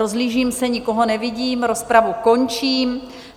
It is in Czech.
Rozhlížím se, nikoho nevidím, rozpravu končím.